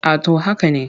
A to haka ne.